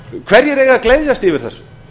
hverjir eiga að gleðjast yfir þessu